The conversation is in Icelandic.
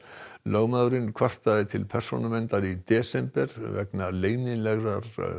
lögmaðurinn kvartaði til Persónuverndar í desember vegna leynilegrar